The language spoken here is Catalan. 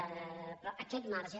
però aquest marge